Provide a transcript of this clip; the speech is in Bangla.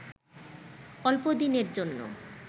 অল্পদিনের জন্যে